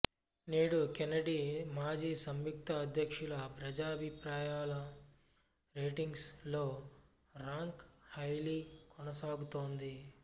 నేడు కెన్నెడీ మాజీ సంయుక్త అధ్యక్షుల ప్రజా అభిప్రాయం రేటింగ్స్ లో రాంక్ హైలీ కొనసాగుతోంది